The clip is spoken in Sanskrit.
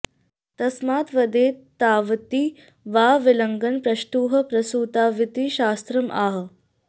तस्माद् वदेत् तावति वा विलग्नं प्रष्टुः प्रसूताविति शास्त्रम् आह